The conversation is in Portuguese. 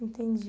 Entendi.